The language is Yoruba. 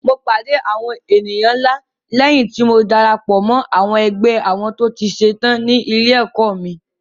Mo pàdé àwọn èèyàn ńlá léyìn tí mo darapọ̀ mọ́ ẹgbẹ́ àwọn tó ti ṣe tán ní ilé-ẹ̀kọ́ mi.